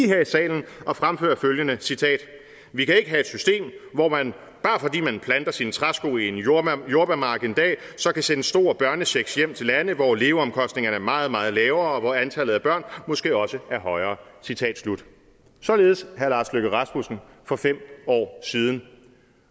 her i salen og fremføre følgende og citerer vi kan ikke have et system hvor man bare fordi man planter sine træsko i en jordbærmark jordbærmark en dag så kan sende store børnechecks hjem til lande hvor leveomkostningerne er meget meget lavere og hvor antallet af børn måske også er højere citat slut således herre lars løkke rasmussen for fem år siden